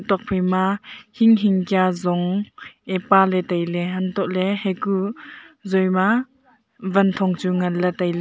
tok phaima hing hing kia zong e paley tailey untohley hekuh zoi ma wanthong chu nganley tailey.